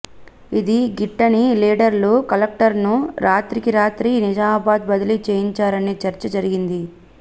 ఇది గిట్టని లీడర్లు కలెక్టర్ను రాత్రికి రాత్రి నిజామాబాద్ బదిలీ చేయించారనే చర్చ జరిగింది